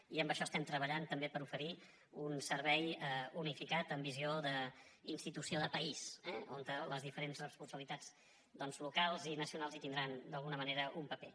i en això estem treballant també per oferir un servei unificat amb visió d’institució de país eh on les diferents responsabilitats doncs locals i nacionals hi tindran d’alguna manera un paper